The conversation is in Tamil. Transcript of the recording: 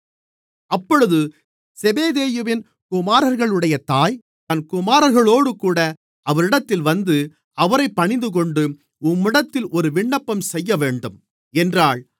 அப்பொழுது செபெதேயுவின் குமாரர்களுடைய தாய் தன் குமாரர்களோடுகூட அவரிடத்தில் வந்து அவரைப் பணிந்துகொண்டு உம்மிடத்தில் ஒரு விண்ணப்பம் செய்யவேண்டும் என்றாள்